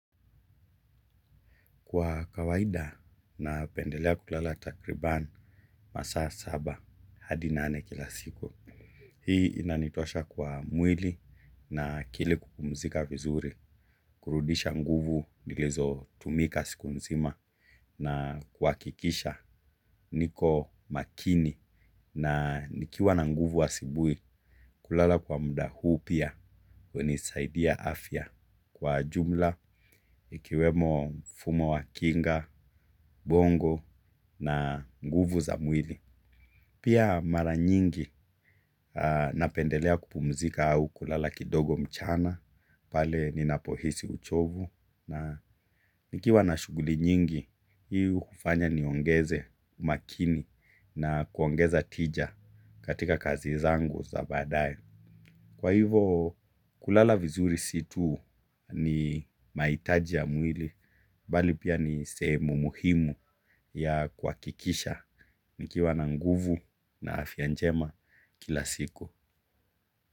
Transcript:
Kwa kawaida napendelea kulala takriban masaa saba hadi nane kila siku. Hii inanitosha kwa mwili na akili kupumzika vizuri, kurudisha nguvu nilizotumika siku nzima na kuhakikisha niko makini na nikiwa na nguvu asubuhi kulala kwa muda huu pia. Hunisaidia afya kwa jumla, ikiwemo mfumo wa kinga, ubongo na nguvu za mwili. Pia mara nyingi napendelea kupumzika au kulala kidogo mchana, pale ninapohisi uchovu na nikiwa na shughuli nyingi, hii hufanya niongeze makini na kuongeza tija katika kazi zangu za baadaye. Kwa hivyo kulala vizuri si tu ni mahitaji ya mwili, bali pia ni sehemu muhimu ya kuhakikisha nikiwa na nguvu na afya njema kila siku.